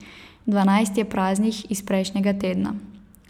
Dvanajst je praznih, iz prejšnjega tedna.